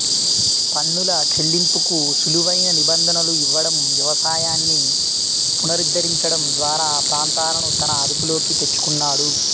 పన్నుల చెల్లింపుకు సులువైన నిబంధనలు ఇవ్వడం వ్యవసాయాన్ని పునరుద్ధరించడం ద్వారా ఆ ప్రాంతాలను తన అదుపులోకి తెచ్చుకున్నాడు